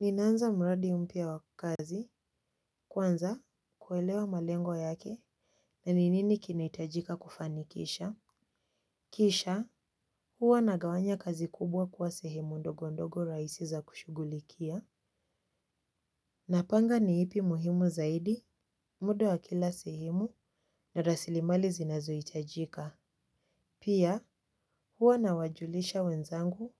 Ninaanza mradi mpya wa kazi, kwanza kuelewa malengo yake na ni nini kinahitajika kufanikisha. Kisha, huwa nagawanya kazi kubwa kuwa sehemu ndogo ndogo rahisi za kushughulikia. Napanga ni ipi muhimu zaidi, muda wa kila sehemu na rasilimali zinazo hitajika. Pia, huwa nawajulisha wenzangu